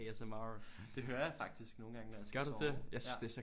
A S M R det hører jeg faktisk nogle gange når jeg skal sove ja